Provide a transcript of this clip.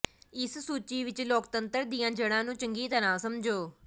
ਇਸ ਸੂਚੀ ਵਿਚ ਲੋਕਤੰਤਰ ਦੀਆਂ ਜੜ੍ਹਾਂ ਨੂੰ ਚੰਗੀ ਤਰ੍ਹਾਂ ਸਮਝੋ